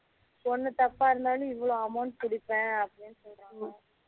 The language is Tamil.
ஒண்ணு தப்பா இருந்தாலும் இவ்வளோ amount பிடிப்பேன் அப்படினு சொன்னாங்க